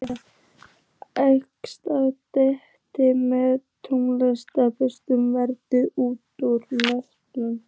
Hún er einsog dreki með tóbaksreykinn vaðandi út úr nösunum.